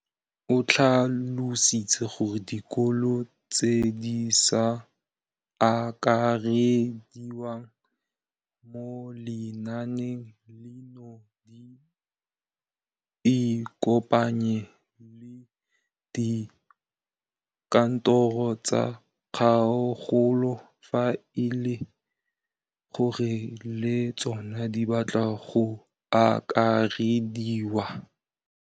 O tlhalositse gore dikolo tse di sa akarediwang mo lenaaneng leno di ikopanye le dikantoro tsa kgaolo fa e le gore le tsona di batla go akarediwa.